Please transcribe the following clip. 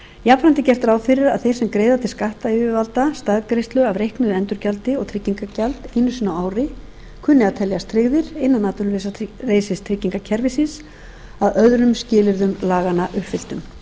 jafnframt er gert ráð fyrir að þeir sem greiða til skattyfirvalda staðgreiðslu af reiknuðu endurgjaldi og tryggingagjald einu sinni á ári kunni að teljast tryggðir innan atvinnuleysistryggingakerfisins að öðrum skilyrðum laganna uppfylltum þá